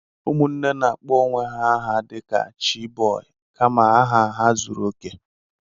ụmụnne na-akpọ onwe ha aha dị ka "chi boy" kama aha ha zuru oke